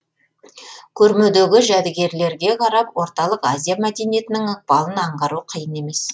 көрмедегі жәдігерлеге қарап орталық азия мәдениетінің ықпалын аңғару қиын емес